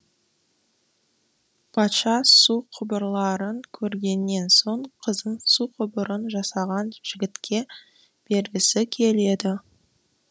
патша су құбырларын көргеннен соң қызын су құбырын жасаған жігітке бергісі келеді